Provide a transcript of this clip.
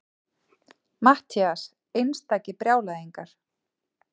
MATTHÍAS: Einstakir brjálæðingar!